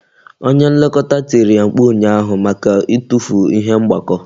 Onye Nlekọta tiri ya mkpu ụnyaahụ maka itufu ihe mgbakọ